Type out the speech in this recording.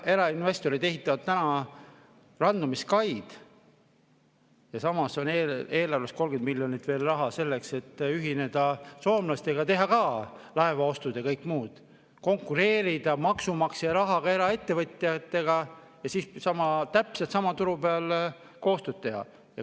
Erainvestorid ehitavad täna randumiskaid ja samas on eelarves 30 miljonit veel raha selleks, et ühineda soomlastega, teha ka laevaostud ja kõik muud – konkureerida maksumaksja rahaga eraettevõtjatega ja siis täpselt sama turu peal koostööd teha.